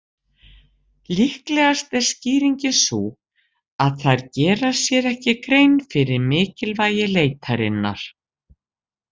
Líklegast er skýringin sú að þær gera sér ekki grein fyrir mikilvægi leitarinnar.